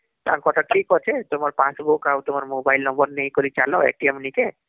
ତାଙ୍କ କଥା ଠିକ ଅଛେତୁମର passbook ଆଉ ତୁମର mobile numberନେଇକରି ଚାଲ ନିକେ